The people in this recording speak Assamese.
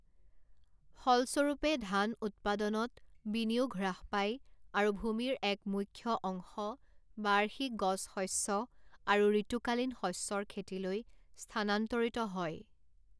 ফলস্বৰূপে, ধান উৎপাদনত বিনিয়োগ হ্ৰাস পায় আৰু ভূমিৰ এক মুখ্য অংশ বাৰ্ষিক গছশস্য আৰু ঋতুকালীন শস্যৰ খেতিলৈ স্থানান্তৰিত হয়।